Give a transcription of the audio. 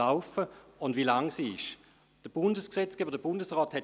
Kommissionssprecher der SAK.